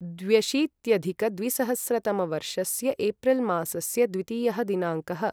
द्व्यशीत्यधिकद्विसहस्रतमवर्षस्य April मासस्य द्वितीयः दिनाङ्कः